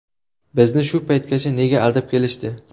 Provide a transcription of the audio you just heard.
Bizni shu paytgacha nega aldab kelishdi?